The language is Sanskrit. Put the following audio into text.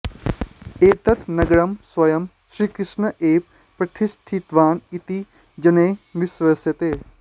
एतत् नगरं स्वयं श्रीकृष्णः एव प्रतिष्ठापितवान् इति जनैः विश्वस्यते